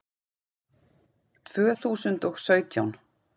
Tvö þúsund og sautján